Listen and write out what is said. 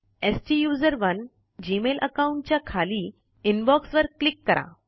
स्टुसरोने Gmail account च्या खाली inbox वर क्लिक करा